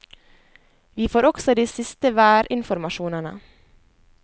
Vi får også de siste værinformasjonene.